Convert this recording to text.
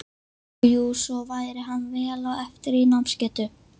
Jú, og svo væri hann vel á eftir í námsgetu.